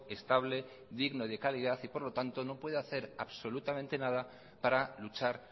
estable y digno de calidad y por lo tanto no puede hacer absolutamente nada para luchar